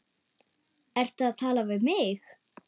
Ertu að tala við mig?